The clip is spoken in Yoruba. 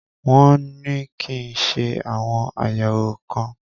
Wọn ní kí n ṣe àwọn àyẹ̀wò kan.